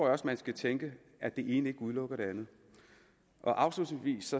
også man skal tænke at det ene ikke udelukker det andet afslutningsvis